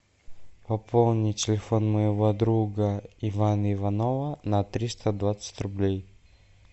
пополни телефон моего друга ивана иванова на триста двадцать рублей